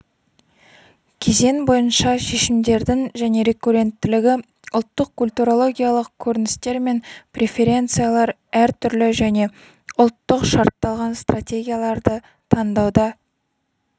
кезең бойынша шешімдердің және рекурренттілігі ұлттық-культурологиялық көріністер мен преференциялар әртүрлі және ұлттық шартталған стратегияларды таңдауда